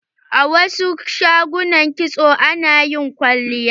A wasu shagunan kitso ana yin kwalliya.